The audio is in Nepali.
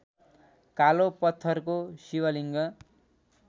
कालो पत्थरको शिवलिङ्ग